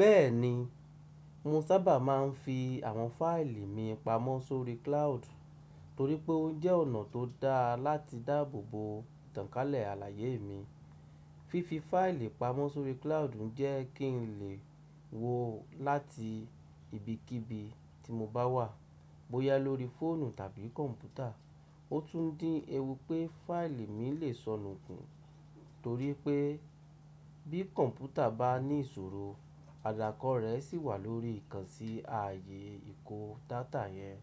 Bẹ́ẹ̀ni, mo sábà máa ń fi àwọn fáìlì mi pamọ́ sórí cloud, torí pé ó jẹ́ ọ̀nà tó dáa láti dáàbò bo tànkálẹ̀ àlàyé mi. Fífi fáìlì pamọ́ sórí cloud ń jẹ́ kí n lè wò ó láti ibikíbi tí mo bá wà, bóyá lórí fóònù tàbí kọ̀m̀pútà. Ó tún ń dín ewú pé fáìlì mi lè sọnù kún, torí pé bí computer bá ní ìṣòro, àdàkọ rẹ̀ sì wà lórí ìkànsi ààyè ìkó data yẹn.